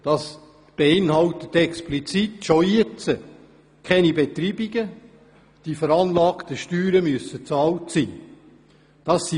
Darin enthalten ist bereits jetzt, dass keine Beitreibungen vorliegen dürfen und die veranlagten Steuern bezahlt sein müssen.